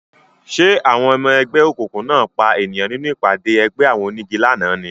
Ṣé àwọn ọmọ ẹgbẹ́ òkùnkùn náà pa ènìyàn nínú ìpàdé ẹgbẹ́ àwọn onígi lánàá ni